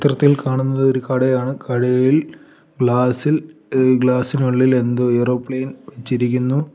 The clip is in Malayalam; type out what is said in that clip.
ചിത്രത്തിൽ കാണുന്നത് ഒരു കടയാണ് കടയിൽ ഗ്ലാസ്സ് ഇൽ എ ഗ്ലാസ്സ് ഇനുള്ളിൽ എന്തോ എയറോപ്ലെയിൻ വച്ചിരിക്കുന്നു.